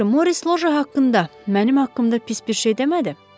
Yaxşı, Morris Loje haqqında mənim haqqımda pis bir şey demədi?